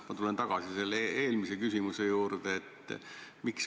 Ma tulen tagasi oma eelmise küsimuse juurde.